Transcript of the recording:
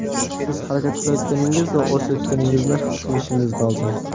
Siz harakat qilayotganingiz va o‘sayotganingizni his qilishingiz lozim.